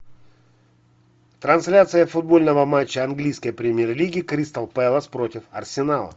трансляция футбольного матча английской премьер лиги кристал пэлас против арсенала